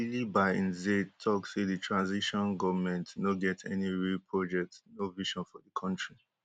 bilie by nze tok say di transition goment no get any real project no vision for di kontri